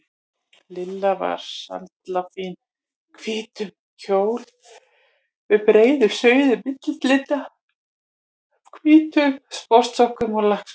Lilla var sallafín í hvítum kjól með breiðum rauðum mittislinda, hvítum sportsokkum og lakkskóm.